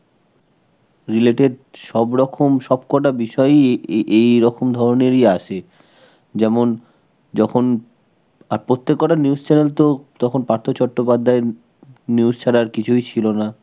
related সব রকম সব কটা বিষয়ই এ এই~, এইরকম ধরনেরই আসে. যেমন, যখন আর প্রত্যেক কটা news channel তো তখন পার্থ চট্টোপাধ্যায়ের news ছাড়া আর কিছুই ছিল না.